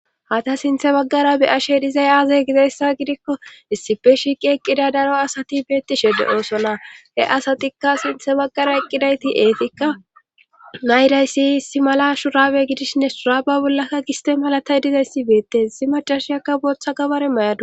hata sinthe baggara be ashe dizay aazae gizayssa gidikko issife shiiqi eqqida daro asati beettishe de oosona he asatikka sinthe baggara eqqidayti eetikka nayrayssi issi mala shuraabe gidishshine suraaba bollaka giste malatay dizayssi beettes issi macashiyakka booththa gabare may7adu